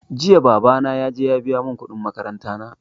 Jiya babana ya je ya biya mun kuɗin makaranta na